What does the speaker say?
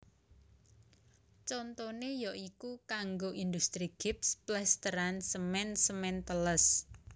Contone ya iku kanggo industri gips plesteran semen semen teles